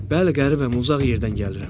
Bəli, qəribəm uzaq yerdən gəlirəm.